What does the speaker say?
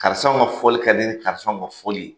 Karisaw ka fɔli ka di nin karisaw ka fɔli ye